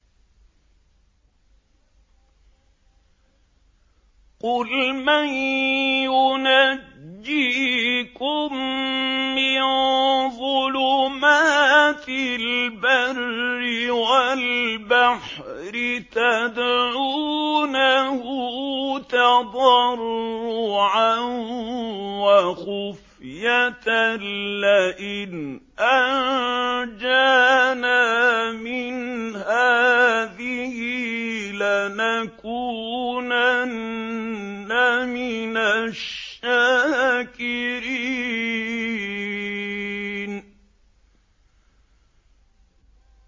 قُلْ مَن يُنَجِّيكُم مِّن ظُلُمَاتِ الْبَرِّ وَالْبَحْرِ تَدْعُونَهُ تَضَرُّعًا وَخُفْيَةً لَّئِنْ أَنجَانَا مِنْ هَٰذِهِ لَنَكُونَنَّ مِنَ الشَّاكِرِينَ